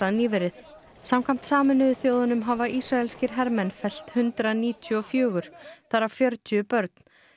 nýverið samkvæmt Sameinuðu þjóðunum hafa Ísraleskir hermenn fellt hundrað níutíu og fjögur þar af fjörutíu börn